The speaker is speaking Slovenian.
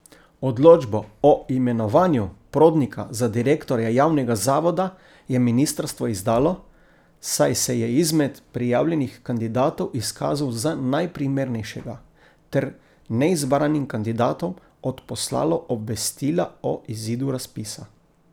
Odločbo o imenovanju Prodnika za direktorja javnega zavoda je ministrstvo izdalo, saj se je izmed prijavljenih kandidatov izkazal za najprimernejšega, ter neizbranim kandidatom odposlalo obvestila o izidu razpisa.